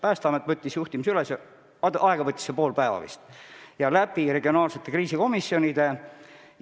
Päästeamet võttis juhtimise üle, aega võttis see pool päeva ja see sai teoks regionaalsete kriisikomisjonide kaudu.